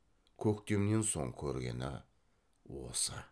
көктемнен соң көргені осы